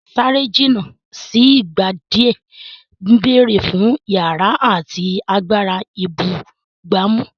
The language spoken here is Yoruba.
Sáré jìnnà sí ìgbà díẹ̀ ń béèrè fún ìyára àti agbára ìbúgbàmù.